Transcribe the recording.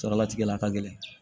Saralatigɛ la a ka gɛlɛn